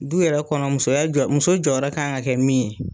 Du yɛrɛ kɔnɔ musoya jɔ muso jɔ yɔrɔ ka kan ka kɛ min ye.